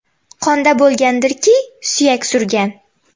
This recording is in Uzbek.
Qonda bo‘lgandirki, suyak surgan.